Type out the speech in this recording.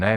Ne.